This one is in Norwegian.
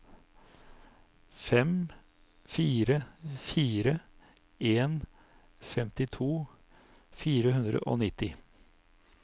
fem fire fire en femtito fire hundre og nitti